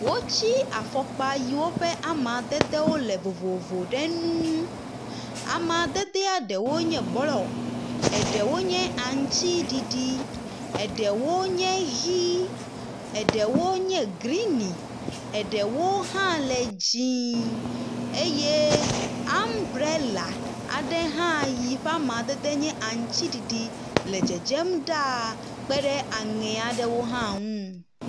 Wotsi afɔkpa yiwo ƒe amadede wo le vovovo ɖe nu ŋu. amadede ɖeawo nye blɔ, eɖewo nye aŋtsiɖiɖi, eɖewo nye ʋi, eɖewo nye grini, eɖewo hã le dzie eye ambrela ae hã yiɔe amadede nye aŋtsiɖiɖi e dzedzem ɖa aŋe aɖewo hã nu.